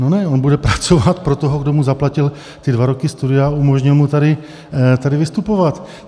No ne, on bude pracovat pro toho, kdo mu zaplatil ty dva roky studia a umožnil mu tady vystupovat.